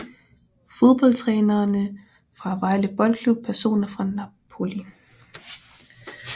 Fodboldtrænere fra Vejle Boldklub Personer fra Napoli